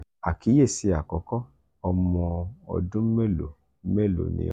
akiyesi akọkọ: omo ọdun melo melo ni o?